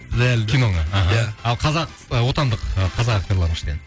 бұл әлі киноға аха иә ал қазақ отандық ы қазақ актерларының ішінен